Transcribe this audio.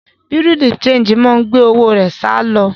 Bùrúdì ṣẹegì máa gbé owó rẹ̀ sálọ.